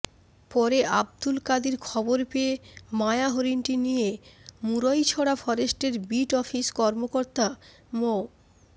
পরে আব্দুল কাদির খবর পেয়ে মায়া হরিণটি নিয়ে মুরইছড়া ফরেস্টের বিট অফিস কর্মকর্তা মো